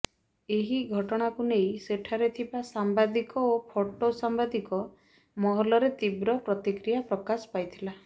ଏହି ଘଟଣାକୁ ନେଇ ସେଠାରେ ଥିବା ସାମ୍ବାଦିକ ଓ ଫଟୋ ସାମ୍ବାଦିକ ମହଲରେ ତୀବ୍ର ପ୍ରତିକ୍ରିୟା ପ୍ରକାଶ ପାଇଥିଲା